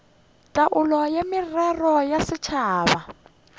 taolo ya merero ya setšhaba